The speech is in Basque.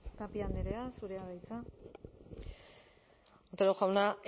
tapia andrea zurea da hitza otero jauna